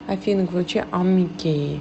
афина включи омики